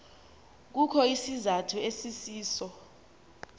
kukho isizathu esisiso